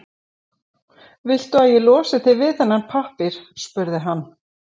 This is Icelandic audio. Viltu að ég losi þig við þennan pappír? spurði hann.